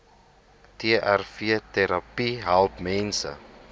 trvterapie help mense